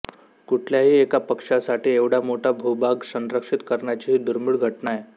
कुठल्याही एका पक्ष्यासाठी एवढा मोठा भूभाग संरक्षित करण्याची ही दुर्मिळ घटना आहे